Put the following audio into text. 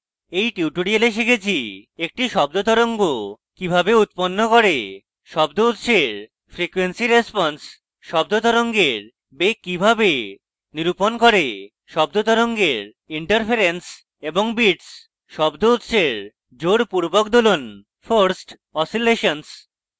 in tutorial আমরা শিখেছি